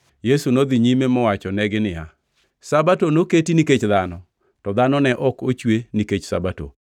Yesu nodhi nyime mowachonegi niya, “Sabato noketi nikech dhano, to dhano ne ok ochwe nikech Sabato.